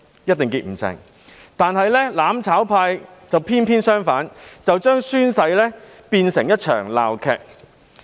可是，"攬炒派"卻偏偏相反，把宣誓變成一場鬧劇。